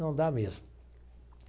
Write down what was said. Não dá mesmo.